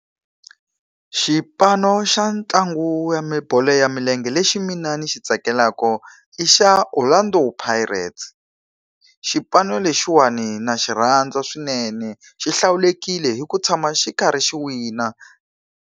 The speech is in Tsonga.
Xipano xa ntlangu ya bolo ya milenge lexi mina ni xi tsakelaka i xa Orlando Pirates. Xipano lexiwani na xi rhandza swinene, xi hlawulekile hi ku tshama xi karhi xi wina.